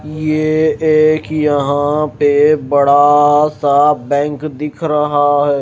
ये एक यहां पे बड़ा सा बैंक दिख रहा है।